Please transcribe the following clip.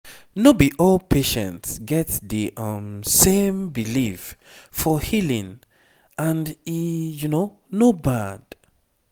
no be all patients get the um same belief for healing and e no bad